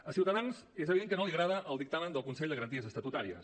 a ciutadans és evident que no li agrada el dictamen del consell de garanties estatutàries